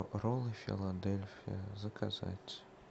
роллы филадельфия заказать